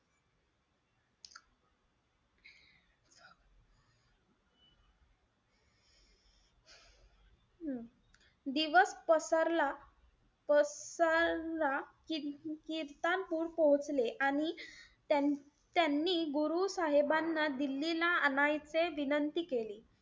हम्म दिवस पसरला~ पसरला कित्तानपूर पोहोचले. आणि त्यांनी गुरु साहेबांना दिल्लीला आणायचे विनंती केली.